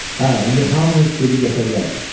Hə, indi hamınız gedib yata bilərsiniz.